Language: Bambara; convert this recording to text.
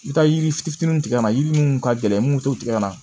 I bɛ taa yiri fitinin tigɛ ka na yiri minnu ka gɛlɛn minnu t'o tigɛ